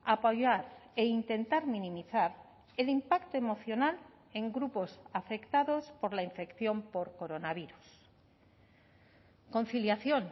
apoyar e intentar minimizar el impacto emocional en grupos afectados por la infección por coronavirus conciliación